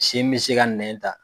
Sin bɛ se ka nɛn ta